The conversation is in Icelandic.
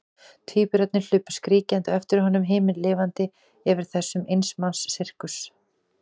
Tvíburarnir hlupu skríkjandi á eftir honum, himinlifandi yfir þessum eins manns sirkus.